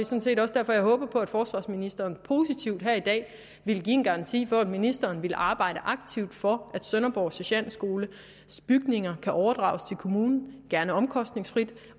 set også derfor jeg håber på at forsvarsministeren positivt her i dag vil give en garanti for at ministeren vil arbejde aktivt for at sønderborg sergentskoles bygninger kan overdrages til kommunen gerne omkostningsfrit